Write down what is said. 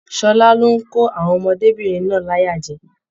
Ṣọlá lo n kò àwọn ọmọdébinrin náà láyà jẹ.